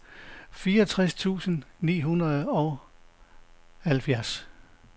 fireogtres tusind ni hundrede og enoghalvfjerds